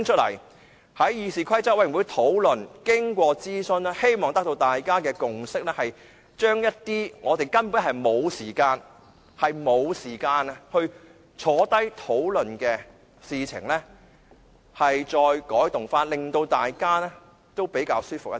我希望經過議事規則委員會的討論和諮詢，大家可以達成共識，將一些我們根本沒有時間共同討論的事宜再改動，令大家比較舒服一點。